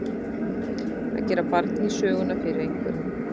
Að gera barn í söguna fyrir einhverjum